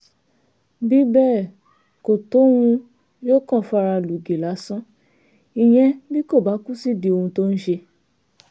bí bẹ́ẹ̀ kò tóhun yóò kàn fara lùgì lásán ìyẹn bí kò bá kú sídìí ohun tó ń ṣe